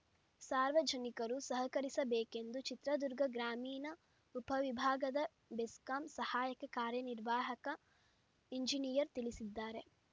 ಸಾರ್ವಜನಿಕರು ಸಹಕರಿಸಬೇಕೆಂದು ಚಿತ್ರದುರ್ಗಗ್ರಾಮೀಣ ಉಪವಿಭಾಗದ ಬೆಸ್ಕಾಂ ಸಹಾಯಕ ಕಾರ್ಯನಿರ್ವಾಹಕ ಇಂಜಿನಿಯರ್‌ ತಿಳಿಸಿದ್ದಾರೆ